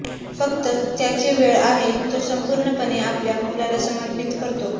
फक्त त्याचे वेळ आहे तो संपूर्णपणे आपल्या मुलाला समर्पित करतो